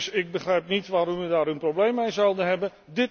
Dus ik begrijp niet waarom we daar een probleem mee zouden hebben.